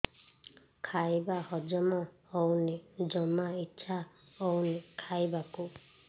ଖାଇବା ହଜମ ହଉନି ଜମା ଇଛା ହଉନି ଖାଇବାକୁ